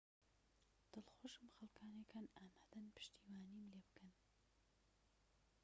دڵخۆشم خەلکانك هەن ئامادەن پشتیوانیم لێبکەن